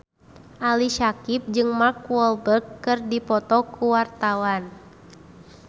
Ali Syakieb jeung Mark Walberg keur dipoto ku wartawan